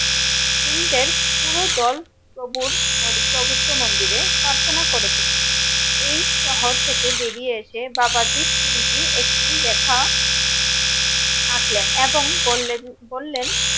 সিং দের পুরো দল প্রভুর পবিত্র মন্দিরে প্রার্থনা করেছিল এই শহর থেকে বেরিয়ে এসে বাবা দ্বীপ সিং জী একটি লেখা আঁকলেন এবং বললেন বললেন